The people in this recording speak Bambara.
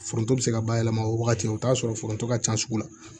Foronto be se ka bayɛlɛma o wagati o t'a sɔrɔ foronto ka ca sugu la